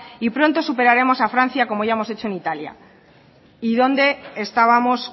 y pronto superaremos a francia como ya hemos hecho en italia y dónde estábamos